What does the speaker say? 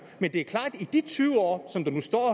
men det er klart at i de tyve år som der nu står